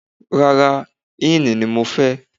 Rárá, ínì ni mo fẹ́.